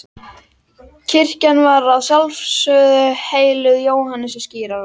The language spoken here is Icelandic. Kirkjan var að sjálfsögðu helguð Jóhannesi skírara.